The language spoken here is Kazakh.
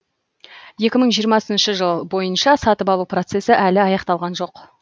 екі мың жиырмасыншы жыл бойынша сатып алу процесі әлі аяқталған жоқ